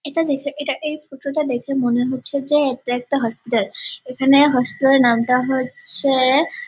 এটা দেখে এটা এই ফটো -টা দেখে মনে হচ্ছে যে এটা একটা হসপিটাল এখানে হসপিটাল -এর নামটা হচ্ছে-এ--